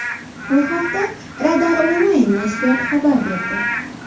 Bu haqda Radar Online nashri xabar berdi .